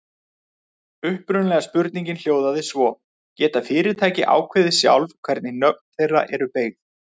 Upprunalega spurningin hljóðaði svo: Geta fyrirtæki ákveðið sjálf hvernig nöfn þeirra eru beygð?